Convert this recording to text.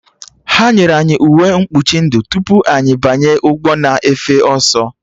Ha nyere anyị uwe mkpuchi ndụ tupu anyị banye ụgbọ na-efe ọsọ